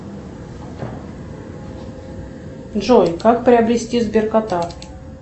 джой как приобрести сберкота